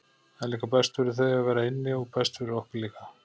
Það er líka best fyrir þau að vera inni og best fyrir okkur líka.